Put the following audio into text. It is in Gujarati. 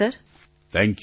પ્રધાનમંત્રી થેંક યૂ